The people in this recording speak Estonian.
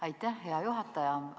Aitäh, hea juhataja!